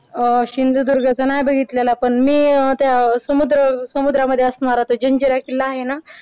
अह सिंधुदुर्गचा नाय बघितलेला पण मी अह त्या समुद्र समुद्र मध्ये असणारा तो जंजिरा किल्ला आहे ना